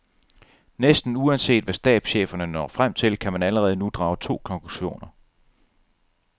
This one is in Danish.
Næsten uanset hvad stabscheferne når frem til, kan man allerede nu drage to konklusioner.